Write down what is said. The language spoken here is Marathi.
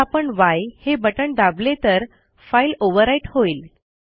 जर आपण य हे बटण दाबले तर फाईल ओव्हरराईट होईल